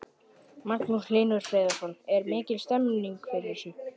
Magnús Hlynur Hreiðarsson: Er mikil stemning fyrir þessu?